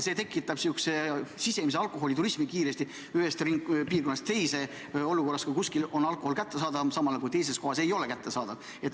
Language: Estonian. See tekitab kiiresti sisemise alkoholiturismi ühest piirkonnast teise, kui kuskil on alkohol kättesaadav ja teises kohas ei ole kättesaadav.